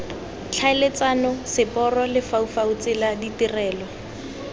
tlhaeletsano seporo lefaufau tsela ditirelo